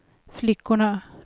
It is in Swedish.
flickorna